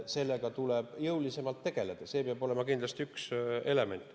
Sellega tuleb jõulisemalt tegeleda ja see peab olema kindlasti üks element.